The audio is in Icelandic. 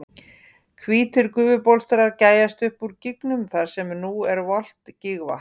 Hvítir gufubólstrar gægjast upp úr gígnum þar sem nú er volgt gígvatn.